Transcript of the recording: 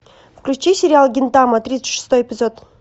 включи сериал гинтама тридцать шестой эпизод